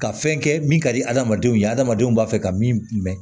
Ka fɛn kɛ min ka di adamadenw ye adamadenw b'a fɛ ka min mɛn